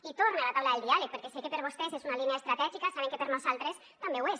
i torna la taula del diàleg perquè sé que per vostès és una línia estratègica saben que per nosaltres també ho és